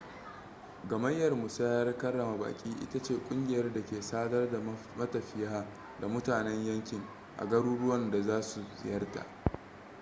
gamayyar musayar karrama baƙi ita ce ƙungiyar da ke sadar da matafiya da mutanen yankin a garuruwan da za su ziyarta